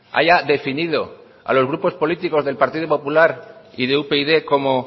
haya definido a los grupos políticos del partido popular y de upyd como